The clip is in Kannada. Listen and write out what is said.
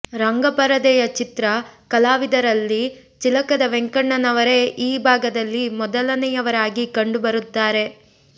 ರಂಗಪರದೆಯ ಚಿತ್ರ ಕಲಾವಿದರಲ್ಲಿ ಚಿಲಕದ ವೆಂಕಣ್ಣನವರೇ ಈ ಭಾಗದಲ್ಲಿ ಮೊದಲನೆಯವರಾಗಿ ಕಂಡು ಬರುತ್ತಾರೆ